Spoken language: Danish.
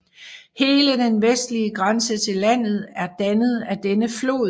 Hele den vestlige grænse til landet er dannet af denne flod